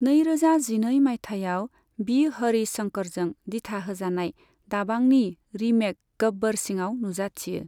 नैरोजा जिनै माइथायाव बि हरिश शंकरजों दिथा होजानाय दाबांनि रीमेक गब्बर सिंआव नुजाथियो।